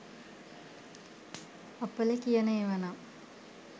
අපල කියන ඒවා නම්